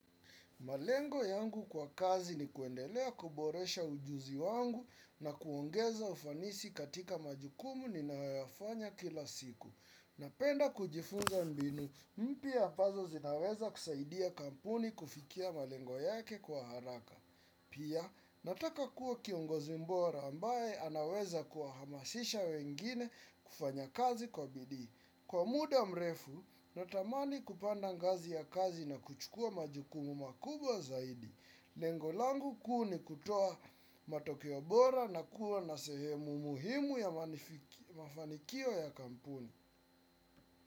Malengo yangu kwa kazi ni kuendelea kuboresha ujuzi wangu na kuongeza ufanisi katika majukumu ninayoyafanya kila siku. Napenda kujifunza mbinu, mpya ambazo zinaweza kusaidia kampuni kufikia malengo yake kwa haraka. Pia, nataka kuwa kiongozi bora ambaye anaweza kuhamasisha wengine kufanya kazi kwa bidii. Kwa muda mrefu, natamani kupanda ngazi ya kazi na kuchukua majukumu makubwa zaidi. Lengo langu kuu ni kutoa matokeo bora na kuwa na sehemu muhimu ya mafanikio ya kampuni.